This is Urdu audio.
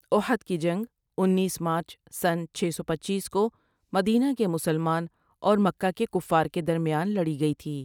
احد کی جنگ انیس مارچ سنہ چھ سو پنچیس کو مدینہ کے مسلمان اور مکہ کے کفار کے درمیان میں لڑی گئی تھی ۔